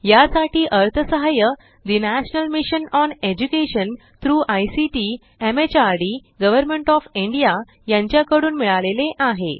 यासाठी अर्थसहाय्य the national mission on education through ICT MHRD government of India यांच्याकडून मिळाले आहे